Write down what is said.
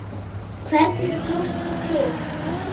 Hvernig tókst til?